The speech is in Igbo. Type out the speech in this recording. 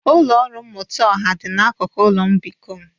Ụlọ ọrụ mmụta ọha dị n'akụkụ ụlọ mbikọ m.